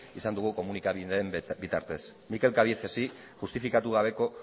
izan dugu komunikabideen bitartez mikel cabiecesi justifikatu gabeko